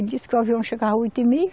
Ele disse que o avião chegava oito e meia.